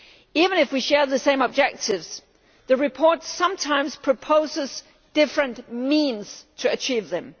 Even if we share the same objectives, the report sometimes proposes different means to achieve them.